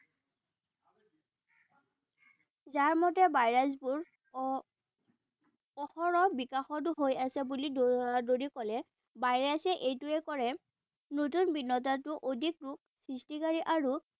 ঝাৰ মতে ভাইৰাছবোৰ অহৰহ বিকশিত হৈ আছে বুলি কলে। ভাইৰাছে এইটোৱেই কৰে নতুন অধিক ৰূপ সৃষ্টিকাৰী আৰু